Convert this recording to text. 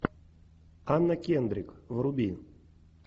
анна кендрик вруби